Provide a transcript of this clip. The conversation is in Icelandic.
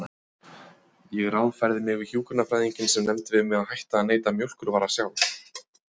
Ég ráðfærði mig við hjúkrunarfræðinginn sem nefndi við mig að hætta að neyta mjólkurvara sjálf.